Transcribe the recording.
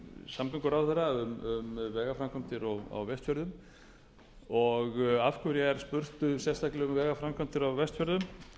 samgönguráðherra um vegaframkvæmdir á vestfjörðum og af hverju er spurt sérstaklega um vegaframkvæmdir á vestfjörðum